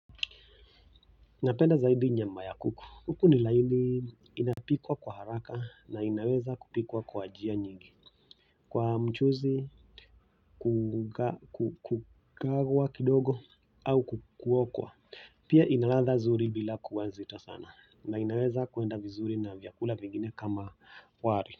Napenda zaidi nyama ya kuku, kuku ni laini inapikwa kwa haraka na inaweza kupikwa kwa njia nyingi kwa mchuzi, kukagwa kidogo au kuokwa pia inaladha nzuri bila kuwa nzito sana na inaweza kuenda vizuri na vyakula vingine kama wali.